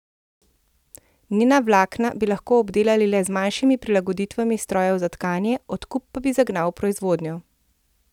Njena vlakna bi lahko obdelali le z manjšimi prilagoditvami strojev za tkanje, odkup pa bi zagnal proizvodnjo.